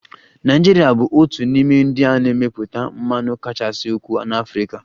Nigeria bụ otu n'ime ndị na-emepụta mmanụ kachasị ukwuu n'Africa